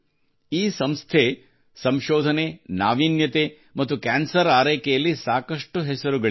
ಈ ಸಂಸ್ಥೆ ಸಂಶೋಧನೆ ನಾವೀನ್ಯತೆ ಮತ್ತು ಕ್ಯಾನ್ಸರ್ ಆರೈಕೆಯಲ್ಲಿ ಸಾಕಷ್ಟು ಹೆಸರು ಗಳಿಸಿದೆ